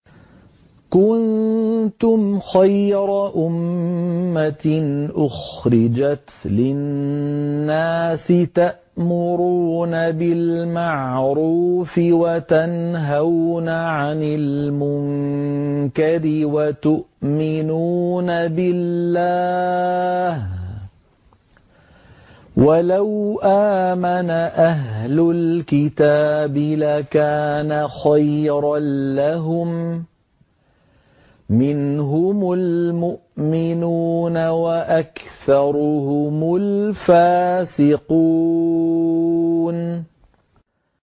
كُنتُمْ خَيْرَ أُمَّةٍ أُخْرِجَتْ لِلنَّاسِ تَأْمُرُونَ بِالْمَعْرُوفِ وَتَنْهَوْنَ عَنِ الْمُنكَرِ وَتُؤْمِنُونَ بِاللَّهِ ۗ وَلَوْ آمَنَ أَهْلُ الْكِتَابِ لَكَانَ خَيْرًا لَّهُم ۚ مِّنْهُمُ الْمُؤْمِنُونَ وَأَكْثَرُهُمُ الْفَاسِقُونَ